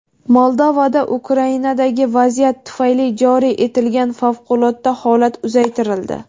Moldovada Ukrainadagi vaziyat tufayli joriy etilgan favqulodda holat uzaytirildi.